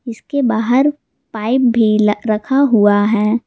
इसके बाहर पाइप भी र-रखा हुआ है।